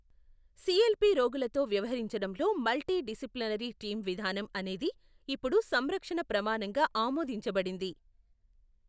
CLP రోగులతో వ్యవహరించడంలో multidisciplinary team విధానం అనేది ఇప్పుడు సంరక్షణ ప్రమాణంగా ఆమోదించబడింది.